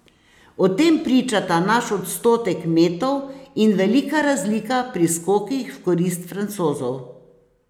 O tem pričata naš odstotek metov in velika razlika pri skokih v korist Francozov.